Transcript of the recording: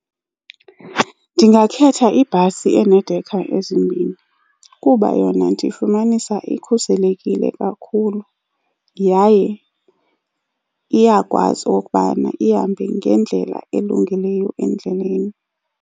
Ndingakhetha ibhasi eneedekha ezimbini kuba yona ndifumanisa ikhuselekile kakhulu yaye iyakwazi okokubana ihambe ngendlela elungileyo endleleni.